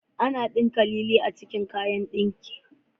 Ana ɗinka lilin a cikin kayan ɗinkin.